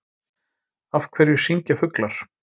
Af hverju syngja fuglar?